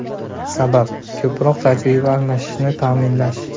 Sabab – ko‘proq tajriba almashishni ta’minlash.